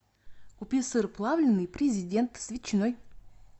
купи сыр плавленный президент с ветчиной